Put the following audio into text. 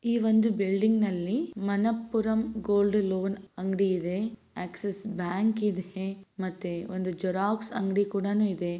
ಈ ಒಂದು ಬಿಲ್ಡಿಂಗ್‌ ನಲ್ಲಿ ಮಣಪುರಂ ಗೋಲ್ಡ್‌ ಲೋನ್‌ ಅಂಗಡಿ ಇದೆ. ಆಕ್ಸಿಸ್‌ ಬ್ಯಾಂಕ್‌ ಇದೆ ಮತ್ತೆ ಒಂದು ಜೆರಾಕ್ಸ್‌ ಅಂಗಡಿ ಕೂಡಾನೂ ಇದೆ.